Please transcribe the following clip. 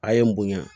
A ye n bonya